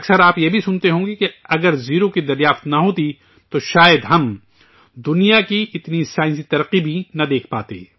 اکثر آپ یہ بھی سنتے ہوں گے کہ اگر زیرو کی کھوج نہ ہوتی، تو شاید ہم، دنیا کی اتنی سائنسی پیش رفت بھی نہ دیکھ پاتے